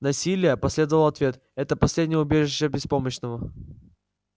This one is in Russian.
насилие последовал ответ это последнее убежище беспомощного